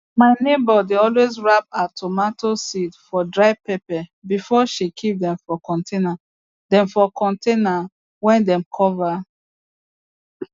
my neighbour dey always wrap her tomato seed for dry paper before she keep dem for container dem for container wey dem cover